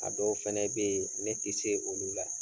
A dɔw fana bɛ yen ne tɛ se olu la